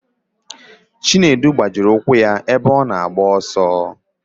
Chinedu gbajiri ụkwụ ya ebe ọ na-agba ọsọ.